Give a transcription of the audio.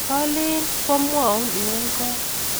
Kalin kwa mwaun iun kot